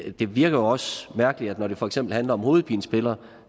virker også mærkeligt at når det for eksempel handler om hovedpinepiller